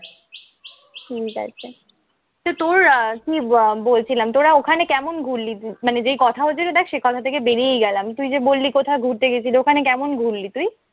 ঠিক আছে। সে তোর কি ব বলছিলাম তোরা ওখানে কেমন ঘুরলি? মানে যে হচ্ছিল দ্যাখ সে কথা থেকে বেরিয়েই গেলাম। তুই যে বললি কোথাও গেছিলি, ওখানে কেমন ঘুরলি তুই?